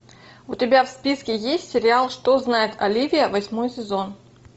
у тебя в списке есть сериал что знает оливия восьмой сезон